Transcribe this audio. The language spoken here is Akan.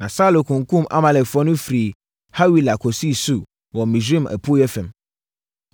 Na Saulo kunkumm Amalekfoɔ no firii Hawila kɔsii Sur wɔ Misraim apueeɛ fam.